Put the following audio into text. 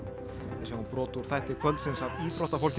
við sjáum brot úr þætti kvöldsins af íþróttafólkinu